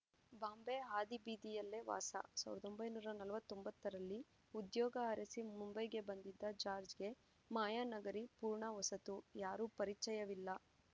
ಬಾಂಬೆ ಹಾದಿ ಬೀದಿಯಲ್ಲೇ ವಾಸ ಸಾವಿರದ ಒಂಬೈನೂರ ನಲವತ್ತೊಂಬತ್ತರಲ್ಲಿ ಉದ್ಯೋಗ ಅರಸಿ ಮುಂಬೈಗೆ ಬಂದಿದ್ದ ಜಾಜ್‌ರ್‍ಗೆ ಮಾಯಾ ನಗರಿ ಪೂರ್ಣ ಹೊಸತು ಯಾರೂ ಪರಿಚಯವಿಲ್ಲ